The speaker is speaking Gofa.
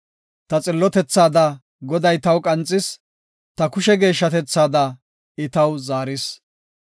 Ta xillotethaada Goday taw qanxis; ta kushe geeshshatethaada I taw zaaris.